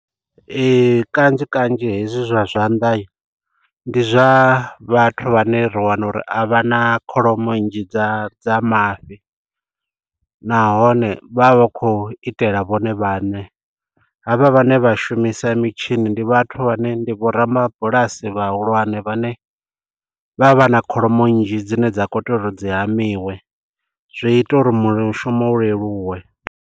Kanzhi kanzhi hezwi zwa zwanḓa ndi zwa vhathu vhane ri wana uri a vha na kholomo nnzhi dza dza mafhi nahone vha vha vha khou itela vhone vhaṋe. Havha vhane vha shumisa mitshini ndi vhathu vhane ndi vho ramabulasi vhahulwane vhane vha vha na kholomo nnzhi dzine dza khou tea uri dzi hamiwe, zwi ita uri mushumo u leluwe.